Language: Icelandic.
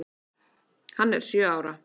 Hann er sjö ára.